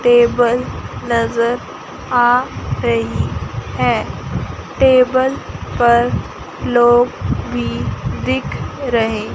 table नज़र आ रही है टेबल पर लोग भी दिख रहे--